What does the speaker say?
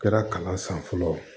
Kɛra kalan san fɔlɔ